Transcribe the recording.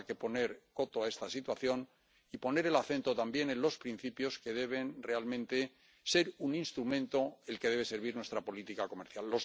Habrá que poner coto a esta situación y poner el acento también en los principios que deben realmente ser un instrumento, el que debe servir a nuestra política comercial.